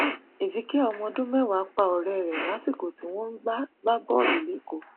ezekiel ọmọ ọdún mẹwàá pa ọrẹ rẹ lásìkò tí wọn ń gbá gbá bọọlù lẹkọọ